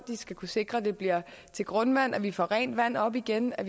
skal kunne sikre at det bliver til grundvand og at vi kan få rent vand op igen og